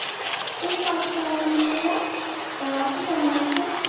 এই তো আছি আল্লাহামদুল্লিয়া আহ আপনি কেমন আছেন